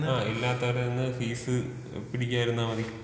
ഇല്ലാത്തോരീന്ന് fees പിടിക്കാതെയിരുന്നാ മതി.